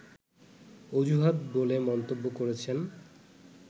অজুহাত বলে মন্তব্য করেছেন